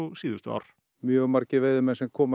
síðustu ár mjög margir veiðimenn sem koma